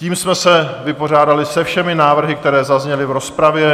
Tím jsme se vypořádali se všemi návrhy, které zazněly v rozpravě.